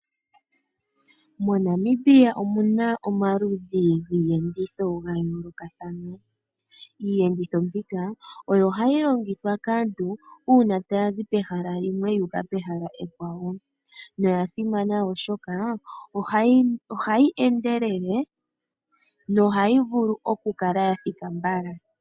MoNamibia omuna omaludhi giiyenditho ya yoolokathana. Iiyenditho mbika oyo hayi longithwa kaantu uuna taya zi pehala limwe yuuka pehala ekwawo noya simana oshoka ohayi endelele nohayi vulu okukala ya thika mbala.